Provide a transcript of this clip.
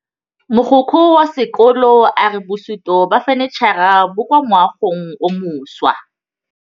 Mogokgo wa sekolo a re bosutô ba fanitšhara bo kwa moagong o mošwa.